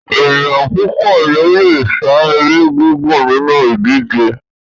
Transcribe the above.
Ènìyàn púpọ̀ ní o le sá eré gígùn nínú ìdíje